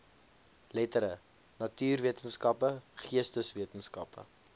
lettere natuurwetenskappe geesteswetenskappe